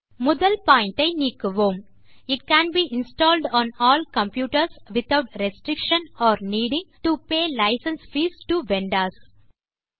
முதல் பாயிண்ட் ஐ நீக்குவோம் it can be installed on all computers without restriction or needing to pay licence fees to vendors